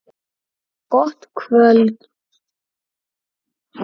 Gott kvöld!